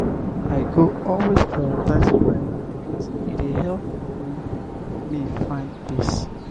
i go always prioritize quiet moments; e dey help um me find peace.